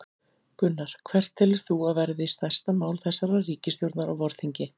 Gunnar: Hvert telur þú að verði stærsta mál þessarar ríkisstjórnar á vorþingi?